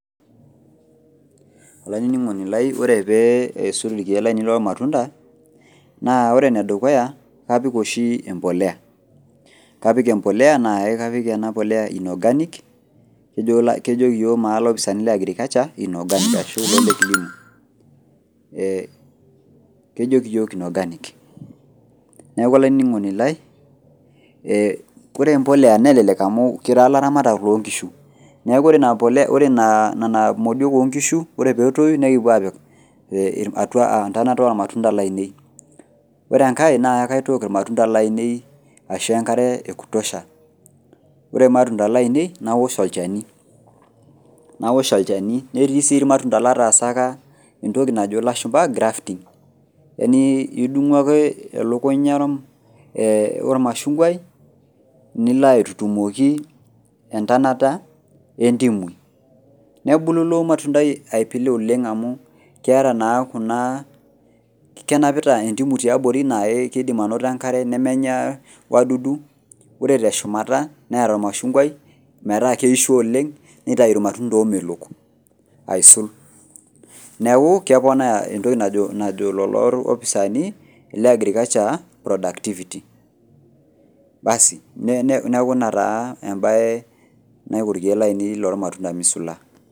Olaininingoni lai ore pee eisul irkiek lainei loo ilmatunda naa ore enedukuya kapik empolea .Kapik empolea naa inorganic , kejo naa yiok ilopisani leagriculture inorganic. Niaku olainingoni lai ore empolea nelelek amu kira laramatak loonkishu , niaku ore nena modiok onkishu ,ore petoyu nikipuo apik etonata ormatunda lainei. Ore enkae naa kaitok irmatunda lainei aisho enkare ekutosha , ore irmatunda lainei naosh olchani , naosh olchani , netii sii irmatunda lataasaka entoki najo ilashumaba grafting yani idumu ake elukunya ormashunkwai nilo aitutumoki entonata entimui . Nebulu ilo matundai aipilu oleng amu keeta naa kenapita indimu tiabori naa kidim anoto enkare nemenya wadudu ore teshumata neeta ormashunkwai metaa keisho oleng nitau irmatunda omelok aisul niaku keponaa entoki najo lelo opisani leagriculture productivity basi niaku ina taa emae naiku irkiek lormatunda lainei ,misula.